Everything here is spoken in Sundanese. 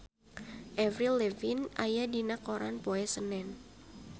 Avril Lavigne aya dina koran poe Senen